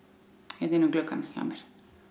hérna inn um gluggann hjá mér